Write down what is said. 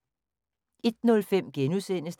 01:05: